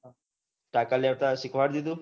તાન્કા લેતા સીખવાડિયું દીઘું